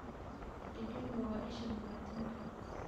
Digaag waa isha borotiinka.